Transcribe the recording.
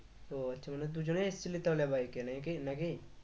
ও আচ্ছা মানে দুজনেই এসছিলি তাহলে bike এ নাকি নাকি?